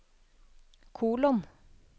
kolon